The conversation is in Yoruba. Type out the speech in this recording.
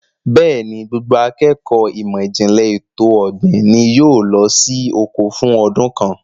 Bẹ́ẹ̀ni, gbogbo akékọ̀ọ́ ìmọ̀ ìjìnlẹ̀ ètò ọ̀gbìn ni yóò lọ sí oko fún ọdún kan.